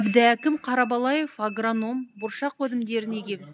әбдіәкім қарабалаев агроном бұршақ өнімдерін егеміз